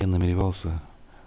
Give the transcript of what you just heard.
я намеревался